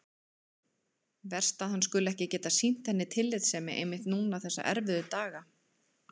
Verst að hann skuli ekki geta sýnt henni tillitssemi einmitt núna þessa erfiðu daga.